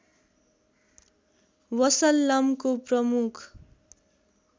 वसल्लमको प्रमुख